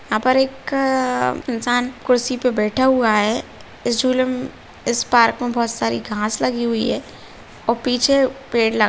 यहाँ पर एक इंसान कुर्सी पर बैठा हुआ है इस झूले म । इस पार्क में बहुत सारी घास लगी हुई है और पीछे पेड़ लगा --